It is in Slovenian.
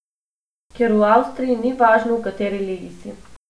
Ker v Avstriji ni važno, v kateri ligi si.